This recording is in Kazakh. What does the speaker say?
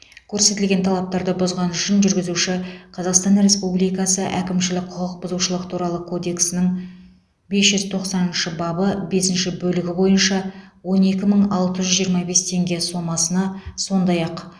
көрсетілген талаптарды бұзғаны үшін жүргізуші қазақстан республикасы әкімшілік құқық бұзушылық туралы кодексінің бес жүз тоқсаныншы бабы бесінші бөлігі бойынша он екі мың алты жүз жиырма бес теңге сомасына сондай ақ